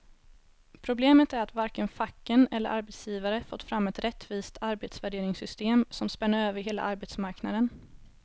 Problemet är att varken facken eller arbetsgivare fått fram ett rättvist arbetsvärderingssystem som spänner över hela arbetsmarknaden.